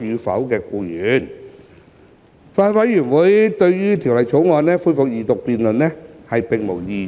法案委員會對《條例草案》恢復二讀辯論並無異議。